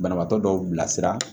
Banabaatɔ dɔw bilasira